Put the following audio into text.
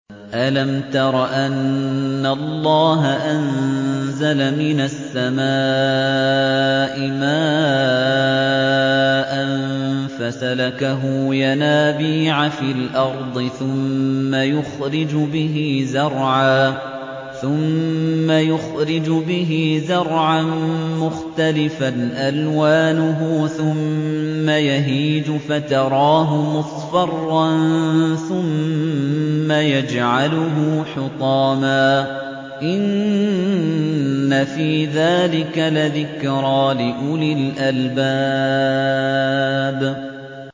أَلَمْ تَرَ أَنَّ اللَّهَ أَنزَلَ مِنَ السَّمَاءِ مَاءً فَسَلَكَهُ يَنَابِيعَ فِي الْأَرْضِ ثُمَّ يُخْرِجُ بِهِ زَرْعًا مُّخْتَلِفًا أَلْوَانُهُ ثُمَّ يَهِيجُ فَتَرَاهُ مُصْفَرًّا ثُمَّ يَجْعَلُهُ حُطَامًا ۚ إِنَّ فِي ذَٰلِكَ لَذِكْرَىٰ لِأُولِي الْأَلْبَابِ